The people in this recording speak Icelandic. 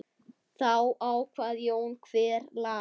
Þá kvað Jón: Hver las?